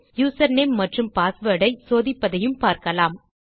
user name மற்றும் password ஐ சோதிப்பதையும் பார்க்கலாம்